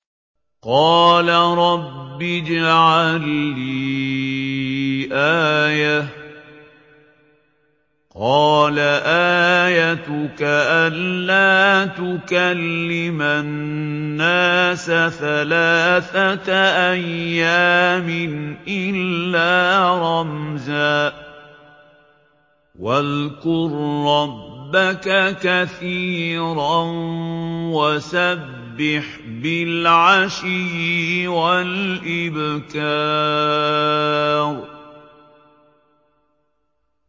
قَالَ رَبِّ اجْعَل لِّي آيَةً ۖ قَالَ آيَتُكَ أَلَّا تُكَلِّمَ النَّاسَ ثَلَاثَةَ أَيَّامٍ إِلَّا رَمْزًا ۗ وَاذْكُر رَّبَّكَ كَثِيرًا وَسَبِّحْ بِالْعَشِيِّ وَالْإِبْكَارِ